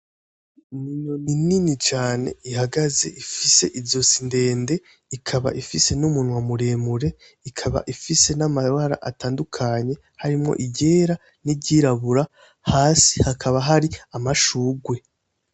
Ni inyoni nini cane ihagaze ifise izosi ndende ikaba ifise n'umunwa muremure ikaba ifise n'amabara atandukanye harimwo iryera n'iryirabura, hasi hakaba hari amashurwe.